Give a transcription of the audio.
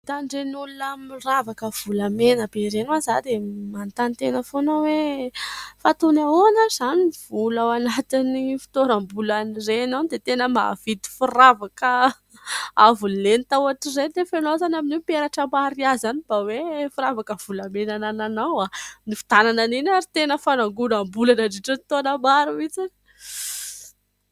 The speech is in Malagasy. Mahita an'ireny olona miravaka volamena be ireny aho dia manontany tena foana hoe : fa toy ny ahoana izany ny vola ao anatin' ny fitoeram- bolan' ireny ao, dia tena mahavidy firavaka avo lenta ohatr' ireny ? Anefa ianao izany amin' io tena hoe peratra mariazy ihany no mba hoe firavaka volamena anananao. Ny nividianana an' iny ary tena fanangonam- bola nandritra ny taona maro mihitsy.